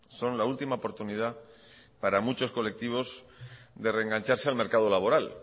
son la última oportunidad para muchos colectivos de reengancharse al mercado laboral